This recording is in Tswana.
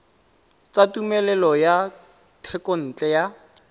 tsa tumelelo ya thekontle ya